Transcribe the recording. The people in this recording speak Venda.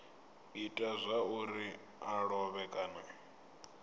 ita zwauri a lovhe kana